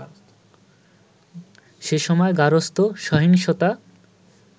সেসময় গার্হস্থ্য সহিংসতা